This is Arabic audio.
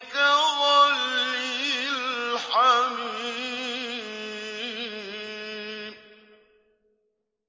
كَغَلْيِ الْحَمِيمِ